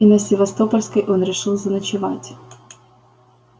и на севастопольской он решил заночевать